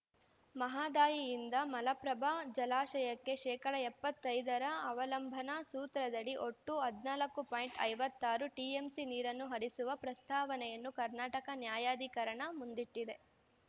ಮಹದಾಯಿಯಿಂದ ಮಲಪ್ರಭಾ ಜಲಾಶಯಕ್ಕೆ ಶೇಕಡಾ ಎಪ್ಪತ್ತೈದರ ಅವಲಂಬನಾ ಸೂತ್ರದಡಿ ಒಟ್ಟು ಹದಿನಾಲ್ಕು ಪಾಯಿಂಟ್ ಐವತ್ತಾರು ಟಿಎಂಸಿ ನೀರನ್ನು ಹರಿಸುವ ಪ್ರಸ್ತಾವನೆಯನ್ನು ಕರ್ನಾಟಕ ನ್ಯಾಯಾಧಿಕರಣದ ಮುಂದಿಟ್ಟಿದೆ